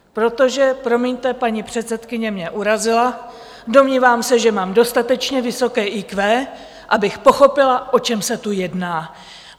Protože promiňte, paní předsedkyně mě urazila, domnívám se, že mám dostatečně vysoké IQ, abych pochopila, o čem se tu jedná.